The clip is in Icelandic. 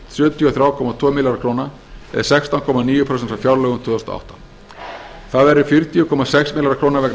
þrjú komma tvo milljarða króna eða sextán komma níu prósent frá fjárlögum tvö þúsund og átta þar af eru fjörutíu komma sex milljarðar króna vegna